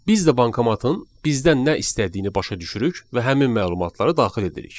Biz də bankomatın bizdən nə istədiyini başa düşürük və həmin məlumatları daxil edirik.